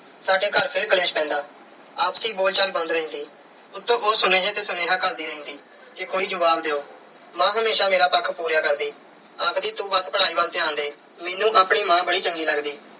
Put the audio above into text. ਸਾਡੇ ਘਰ ਫਿਰ ਕਲੇਸ਼ ਪੈਂਦਾ। ਆਪਸੀ ਬੋਲਚਾਲ ਬੰਦ ਰਹਿੰਦੀ। ਉੱਤੋਂ ਉਹ ਸੁਨੇਹੇ ਤੇ ਸੁਨ੍ਹੇਹਾ ਘੱਲਦੀ ਰਹਿੰਦੀ ਕਿ ਕੋਈ ਜਵਾਬ ਦਿਓ। ਮਾਂ ਹਮੇਸ਼ਾ ਮੇਰਾ ਪੱਖ ਪੂਰੀਆ ਕਰਦੀ। ਆਖਦੀ ਤੂੰ ਬੱਸਪੜ੍ਹਾਈ ਵੱਲ ਧਿਆਨ ਦੇ। ਮੈਨੂੰ ਆਪਣੀ ਮਾਂ ਬੜੀ ਚੰਗੀ ਲੱਗਦੀ